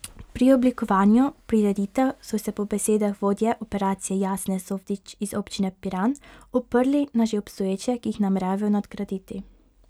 Pri oblikovanju prireditev so se po besedah vodje operacije Jasne Softič z Občine Piran oprli na že obstoječe, ki jih nameravajo nadgraditi.